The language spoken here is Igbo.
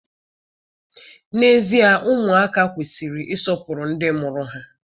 N'ezie, ụmụaka kwesịrị ịsọpụrụ ndị mụrụ ha.